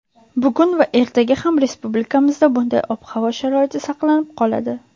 Bugun va ertaga ham respublikamizda bunday ob-havo sharoiti saqlanib qoladi.